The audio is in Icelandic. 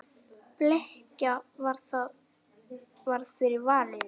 Bleikja varð fyrir valinu.